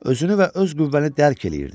Özünü və öz qüvvəni dərk eləyirdin.